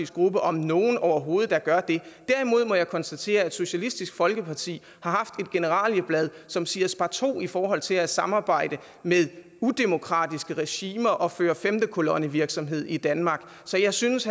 gruppe om nogen overhovedet der gør det derimod må jeg konstatere at socialistisk folkeparti har haft et generalieblad som siger sparto i forhold til at samarbejde med udemokratiske regimer og føre femte kolonne virksomhed i danmark så jeg synes